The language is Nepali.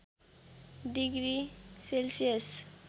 degree Celsius